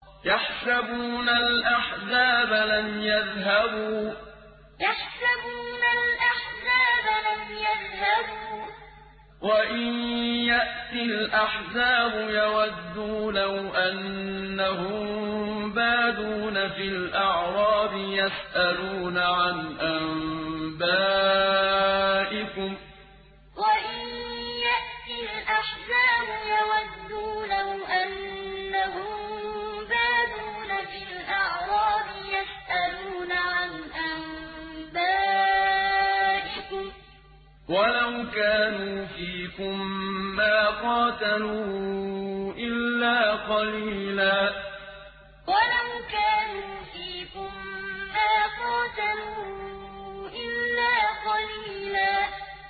يَحْسَبُونَ الْأَحْزَابَ لَمْ يَذْهَبُوا ۖ وَإِن يَأْتِ الْأَحْزَابُ يَوَدُّوا لَوْ أَنَّهُم بَادُونَ فِي الْأَعْرَابِ يَسْأَلُونَ عَنْ أَنبَائِكُمْ ۖ وَلَوْ كَانُوا فِيكُم مَّا قَاتَلُوا إِلَّا قَلِيلًا يَحْسَبُونَ الْأَحْزَابَ لَمْ يَذْهَبُوا ۖ وَإِن يَأْتِ الْأَحْزَابُ يَوَدُّوا لَوْ أَنَّهُم بَادُونَ فِي الْأَعْرَابِ يَسْأَلُونَ عَنْ أَنبَائِكُمْ ۖ وَلَوْ كَانُوا فِيكُم مَّا قَاتَلُوا إِلَّا قَلِيلًا